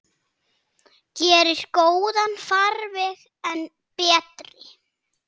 Gerir góðan farveg enn betri.